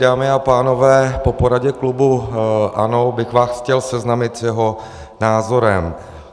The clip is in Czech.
Dámy a pánové, po poradě klubu ANO bych vás chtěl seznámit s jeho názorem.